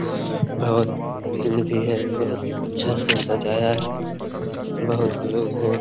बहुत भीड़ भी है बहुत अच्छे से सजाया है बहुत लोग हैं।